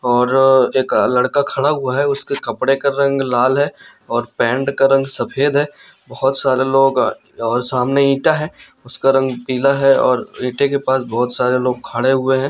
और एक लड़का खड़ा हुआ है उसके कपड़े का रंग लाल है और पैंट का रंग सफेद है बहोत सारे लोग और सामने ईटा है उसका रंग पीला है और ईटे के पास बहोत सारे लोग खड़े हुए है।